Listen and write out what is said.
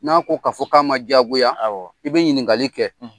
N'a ko k'a fɔ k'a ma diyagoya awɔ i bɛ ɲininkakali kɛ